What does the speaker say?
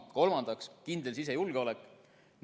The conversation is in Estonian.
Kolmandaks, kindel sisejulgeolek.